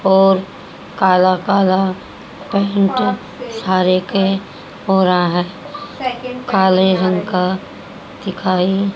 और काला काला पेहन के सारे के हो रहा है काले रंग का दिखाई--